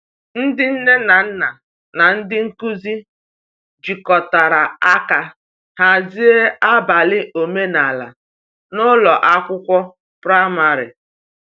Ndị nne na nna na ndị nkuzi jikọtara aka hazie abalị omenala n’ụlọ akwụkwọ praịmarị.